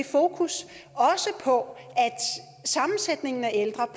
fokus på at sammensætningen af ældre